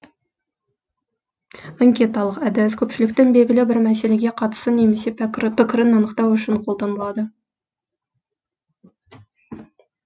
анкеталық әдіс көпшіліктің белгілі бір мәселеге қатысын немесе пікірін анықтау үшін қолданылады